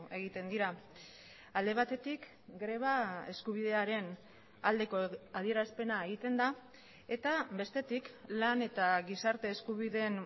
egiten dira alde batetik greba eskubidearen aldeko adierazpena egiten da eta bestetik lan eta gizarte eskubideen